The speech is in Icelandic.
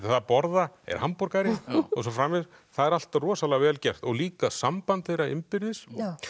að borða er hamborgari og svo framvegis það er allt rosalega vel gert og líka samband þeirra innbyrðis